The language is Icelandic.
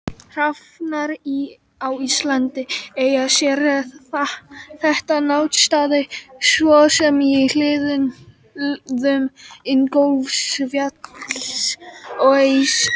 Hrafnar á Íslandi eiga sér þekkta náttstaði svo sem í hlíðum Ingólfsfjalls og Esju.